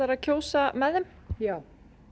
að kjósa með þeim já